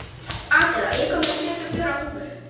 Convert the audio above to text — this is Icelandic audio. Adela, ég kom með sjötíu og fjórar húfur!